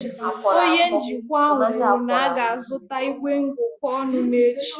Onye njikwa ahụ kwuru na a ga-azụta igwe ngụkọ ọnụ n'echi